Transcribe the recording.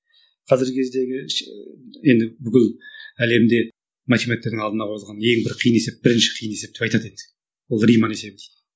қазіргі кездегі енді бүкіл әлемде математиктердің алдына қойылған ең бір қиын есеп бірінші қиын есеп деп айтады енді ол риман есебі дейді